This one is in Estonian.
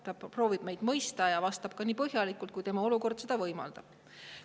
Ta proovib meid mõista ja vastab nii põhjalikult, kui tema olukord võimaldab.